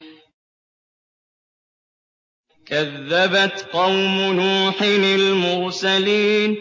كَذَّبَتْ قَوْمُ نُوحٍ الْمُرْسَلِينَ